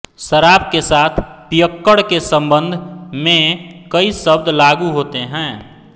शराब के साथ पियक्कड़ के सम्बन्ध में कई शब्द लागू होते हैं